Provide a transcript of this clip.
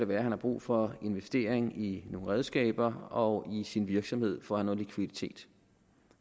være han har brug for en investering i nogle redskaber og i sin virksomhed for at have noget likviditet